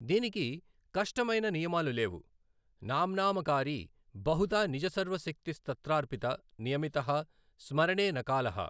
దీనికి కష్టమైన నియమాలు లేవు, నామ్నామకారి బహుధా నిజ సర్వ శక్తి స్తత్రార్పితా నియమితః స్మరణే న కాలః.